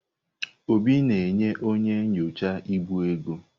Obi na-enye onye na-enyocha ibu ego.